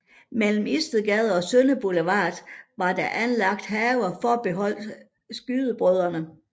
Mellem Istedgade og Sønder Boulevard var der anlagt haver forbeholdt skydebrødrene